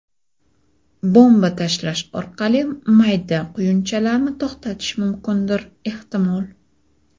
Bomba tashlash orqali mayda quyunchalarni to‘xtatish mumkindir ehtimol.